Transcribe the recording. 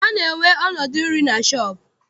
A na-enwe ọnọdụ nri na shọọpụ.